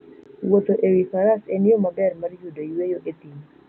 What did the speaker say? Wuotho e wi faras en yo maber mar yudo yueyo e thim.